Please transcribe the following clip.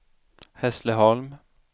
Hässleholm